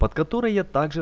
под которой я также